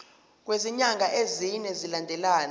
kwezinyanga ezine zilandelana